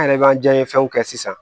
An yɛrɛ b'an janɲɛ fɛnw kɛ sisan